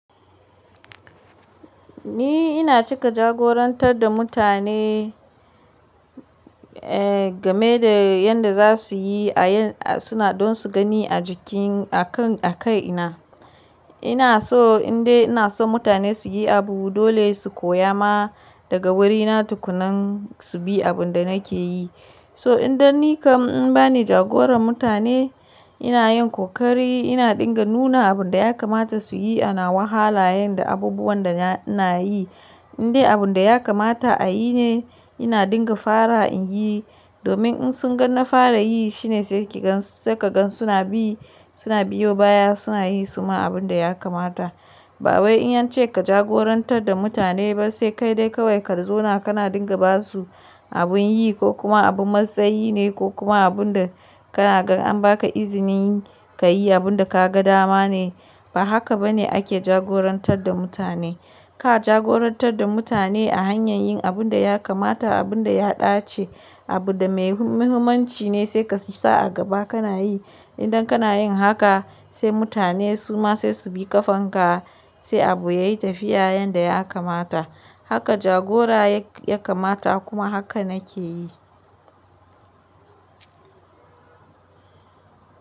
Ni ina cika jagorantar da mutane game da yanda za su yi aa suna don su gani a jiki a kai ina. Ina so indai ina so mutane su yi abu dole su koya ma daga wurina tukunan su bi abin da nake yi. So idan ni kam in bani jagoran mutane ina yin kokari ina dinga nuna abin da ya kamata su yi ana wahala yanda abubuwan da ina yi. Indai abin da ya kamata a yi ne ina dinga fara in yi domin in sun ga na fara yi shine sai ka gan su na bi suna biyo baya suna yi suma abin da ya kamata. Ba wai in ance ka jagorantar da mutane ba sai kai dai kawai ka zauna kana dinga ba su abin yi ko kuma abin matsayi ne ko kuma abin da kana gan an ba ka izinin ka yi abin da ka ga dama ne. Ba haka ba ne ake jagorantar da mutane. Ka jagorantar da mutane a hanyar yin abin da ya kamata abin da ya dace abu da mai muhimmanci ne sai ka sa a gaba kana yi. Idan kana yin haka sai mutane suma sai su bi ƙafanka sai abu ya yi tafiya yanda ya kamata. Haka jagora ya kamata kuma haka nake yi.